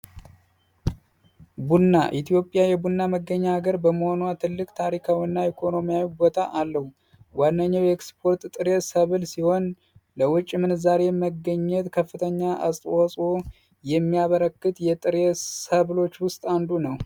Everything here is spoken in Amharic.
ቡና ኢትዮጵያ የቡና መገኛ ሀገር በመሆኗ ትልቅ ታሪካዊና ኢኮኖሚያዊ ቦታ አለው። ዋነኛው ሲሆን ለውጭ ምንዛሪ መገኘት ከፍተኛ አስተዋጽኦ የሚያበረከት የጥርስ ሰብሎች ውስጥ አንዱ ነው